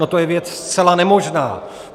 No, to je věc zcela nemožná.